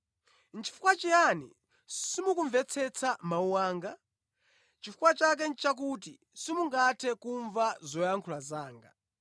Nʼchifukwa chiyani simukumvetsetsa mawu anga? Chifukwa chake nʼchakuti simungathe kumva zoyankhula zanga.